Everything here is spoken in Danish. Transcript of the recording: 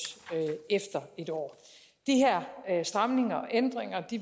efter en år de her stramninger og ændringer